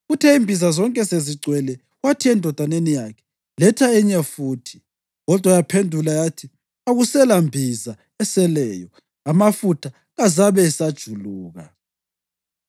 Kuthe imbiza zonke sezigcwele, wathi endodaneni yakhe, “Letha enye futhi.” Kodwa yaphendula yathi, “Akuselambiza eseleyo.” Amafutha kazabe esajuluka.